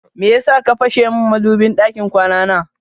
Meyasa ka fashe min madubin ɗakin kwana na?